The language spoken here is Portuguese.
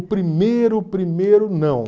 O primeiro, o primeiro, não.